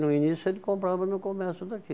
No início ele comprava no comércio daqui.